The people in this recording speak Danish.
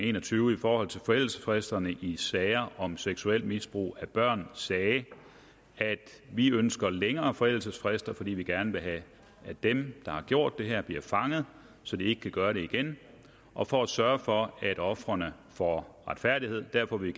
en og tyve i forhold til forældelsesfristerne i sager om seksuelt misbrug af børn sagde at vi ønsker længere forældelsesfrister fordi vi gerne vil have at dem der har gjort det her bliver fanget så de ikke kan gøre det igen og for at sørge for at ofrene får retfærdighed derfor vil